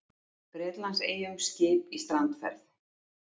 Bretlandseyjum skip í strandferð.